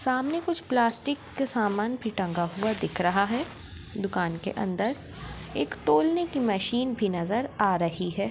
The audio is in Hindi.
सामने कुछ प्लास्टिक के सामान भी टंगा हुआ दिख रहा है दुकान के अंदर एक तोलने की मशीन भी नज़र आ रही है।